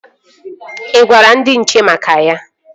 Ị gwara ndị nche maka ya?